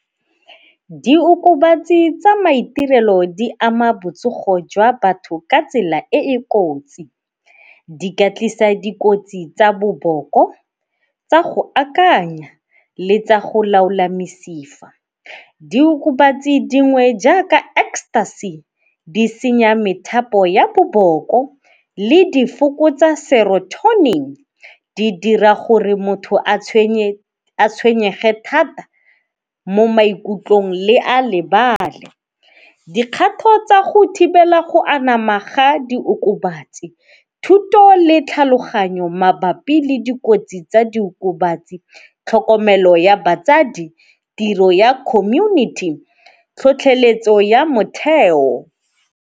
Diokobatsi tsa maiterelo di ama botsogo jwa batho ka tsela e e kotsi. Di ka tlisa dikotsi tsa boboko, tsa go akanya le tsa go laola mesifa. Diokobatsi dingwe jaaka ecstasy di senya methapo ya boboko le difokotsa di dira gore motho a tshwenye, a tshwenyege thata mo maikutlong le a lebale. Dikgato tsa go thibela go anama ga diokobatsi, thuto le tlhaloganyo mabapi le dikotsi tsa diokobatsi, tlhokomelo ya batsadi, tiro ya community, tlhotlheletso ya motheo.